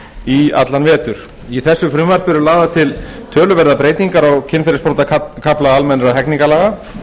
í allan vetur í frumvarpinu eru lagðar til töluverðar breytingar á kynferðisbrotakafla almennra hegningarlaga